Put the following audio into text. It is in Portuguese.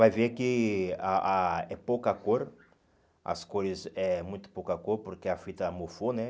vai ver que a a é pouca cor, as cores é muito pouca cor, porque a fita mofou, né?